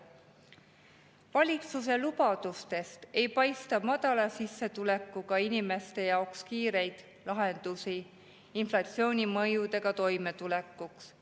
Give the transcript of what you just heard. Valitsuse lubadustest ei paista inflatsiooni mõjudega toimetulekuks madala sissetulekuga inimeste jaoks kiireid lahendusi.